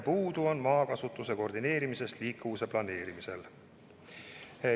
Puudu on maakasutuse koordineerimisest liikuvuse planeerimisel.